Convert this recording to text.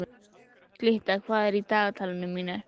Glytta, hvað er í dagatalinu mínu í dag?